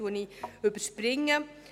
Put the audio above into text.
Ich überspringe dies.